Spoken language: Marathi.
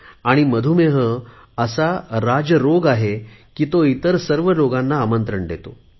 आणि मधुमेह असा राज रोग आहे की तो इतर सर्व रोगांना आमंत्रण देतो